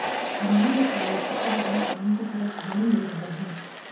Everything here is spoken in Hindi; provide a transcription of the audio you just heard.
उन्होंने बताया कि अब अपने काम की तरफ ध्यान दे रहा हूं